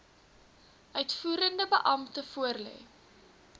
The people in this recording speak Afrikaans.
uitvoerende beampte voorlê